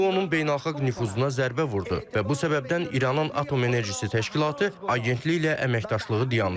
Bu onun beynəlxalq nüfuzuna zərbə vurdu və bu səbəbdən İranın Atom Enerjisi Təşkilatı agentliklə əməkdaşlığı dayandırır.